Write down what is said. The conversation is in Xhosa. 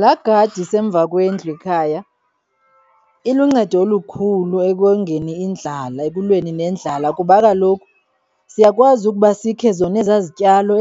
Laa gadi isemva kwendlu ikhaya iluncedo olukhulu ekongeni indlala, ekulweni nendlala kuba kaloku siyakwazi ukuba sikhe zona ezaa zityalo